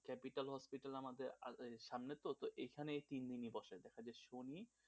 capital hospital এ আমাদের আছে সামনে তো, তো এখানেই তিন দিনই বসে শনি,